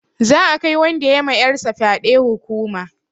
Za'a kai wanda ya ma 'yar sa fyaɗe hukuma.